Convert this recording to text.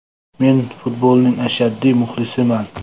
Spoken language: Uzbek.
Men futbolning ashaddiy muxlisiman.